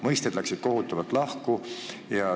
Mõisted läksid kohutavalt lahku.